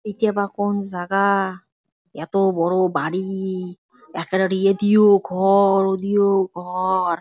এটি আবার কোন জাগা-আ- এতো বড়ো বাড়ি এক্কেরে এদিও ঘ-অ-র ওদিও ঘ-অ-র--